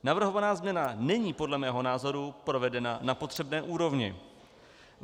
Navrhovaná změna není podle mého názoru provedena na potřebné úrovni.